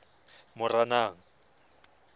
moranang